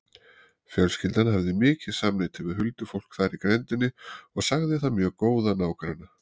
Fjölskyldan hafði mikið samneyti við huldufólk þar í grenndinni og sagði það mjög góða nágranna.